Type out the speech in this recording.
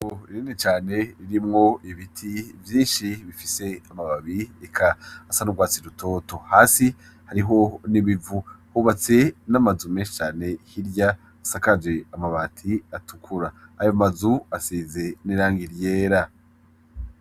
Irene cane ririmwo ibiti vyinshi bifise amababi eka asanurwatsi rutoto hasi hariho nibivu hubatse n'amazu meshi cane hirya asakaje amabati atukura ayo mazu asize nirangi ryera.